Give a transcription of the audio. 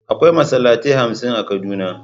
Akwai Masallatai hamsin a kaduna.